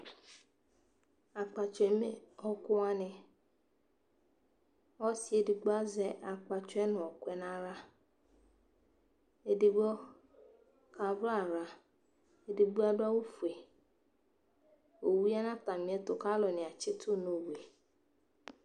Akpatsɔ eme ɛku wa ne Ɔse edigbo azɛ akɛatsɔ no de nahlaEdigbo ka wraraEdigbo ado awufue Owu ya na atame ɛto ka atane atsito no owue